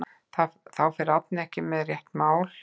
Þar fer Árni ekki með rétt mál.